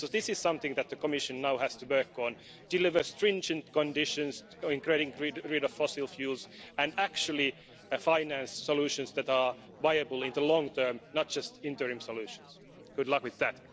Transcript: So this is something that the Commission now has to work on deliver stringent conditions for getting rid of fossil fuels and actually finance solutions that are viable in the long term, not just interim solutions. Good luck with that.